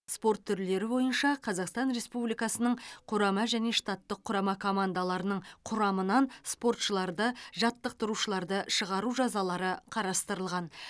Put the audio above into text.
спорт түрлері бойынша қазақстан республикасының құрама және штаттық құрама командаларының құрамынан спортшыларды жаттықтырушыларды шығару жазалары қарастырылған